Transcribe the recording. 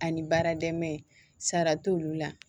Ani baara dɛmɛni sara t'olu la